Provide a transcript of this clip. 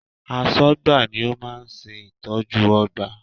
Aṣọ́gbà ni ó máa ń ṣe ìtọ́jú ọgbà